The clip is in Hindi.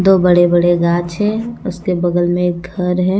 दो बड़े-बड़े गाछ है उसके बगल में एक घर है।